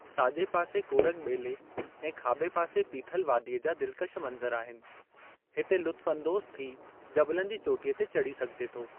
साॼे पासे कोरग ॿेले ऐं खाॿे पासे पीथल वादीअ जा दिलकश मनज़र आहिनि, हिते लुत्फ़अंदोज़ थी जबलनि जी चोटीअ ते चढ़ी सघिजे थो।